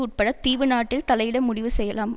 உட்பட தீவு நாட்டில் தலையிட முடிவு செய்யலாம்